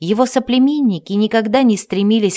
его соплеменники никогда не стремились